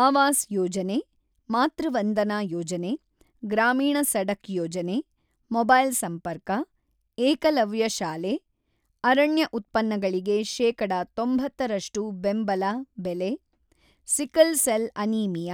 ಅವಾಸ್ ಯೋಜನೆ, ಮಾತೃವಂದನಾ ಯೋಜನೆ, ಗ್ರಾಮೀಣ ಸಡಕ್ ಯೋಜನೆ, ಮೊಬೈಲ್ ಸಂಪರ್ಕ, ಏಕಲವ್ಯ ಶಾಲೆ, ಅರಣ್ಯ ಉತ್ಪನ್ನಗಳಿಗೆ ಶೇಕಡ ೯೦ರಷ್ಷು ಬೆಂಬಲ ಬೆಲೆ, ಸಿಕಲ್ ಸೆಲ್ ಅನೀಮಿಯ,